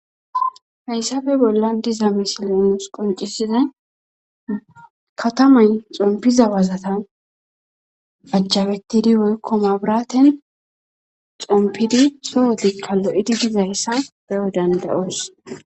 Hayssafe bolla diza misilenus qoncisiza katamay xompiza wazata ajjabettidi woykko mabraten xompidi soho dikka lo7edi dizayssa beyo dandayoos.